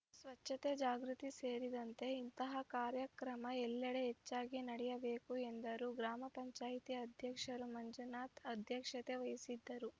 ಸ್ವಚ್ಛತೆ ಜಾಗೃತಿ ಸೇರಿದಂತೆ ಇಂತಹ ಕಾರ್ಯಕ್ರಮ ಎಲ್ಲೆಡೆ ಹೆಚ್ಚಾಗಿ ನಡೆಯಬೇಕು ಎಂದರು ಗ್ರಾಮ ಪಂಚಾಯತಿ ಅಧ್ಯಕ್ಷ ಮಂಜುನಾಥ ಅಧ್ಯಕ್ಷತೆ ವಹಿಸಿದ್ದರು